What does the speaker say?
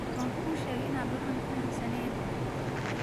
Wankusheke inad waxan fahansaneen.